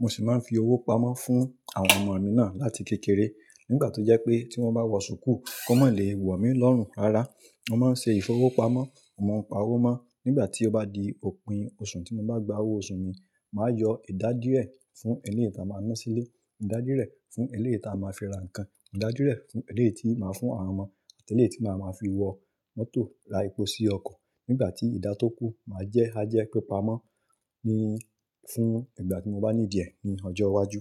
mo sì máa ń fi owó pamọ́ fún àwọn ọmọ mi náà láti kékeré. Nígbà tó jẹ́ pé tí wọ́n bá wọ ṣùkú, kó má lè wò mí lọ́rùn rárá. Mo máa ń ṣe ìfowópamọ́, mo ń pa owó mó. Nígbà tí ó bá di òpin oṣù tí mo bá gba owó oṣù mi, màá yọ ìdádúré fún eléè tá máa ń ná sí ilé, ìdádúré fún eléè tí a máa fi ra nǹkan, ìdádúré fún eléè tí màá fún àwọn ọmọ àti eléè tí màá máa fi wọ mọ́tò ra epo sí ọkọ̀. Nígbà tí ìdá tó kú, màá jẹ́ ajá pípa mọ́ ní fún ìgbà tí mo bá ní diẹ ni ọjọ́ iwájú.